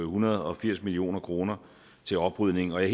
hundrede og firs million kroner til oprydning og jeg